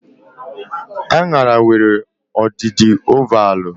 Aṅara nwere ọdịdị ovalvụ